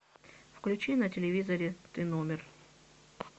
включи на телевизоре т номер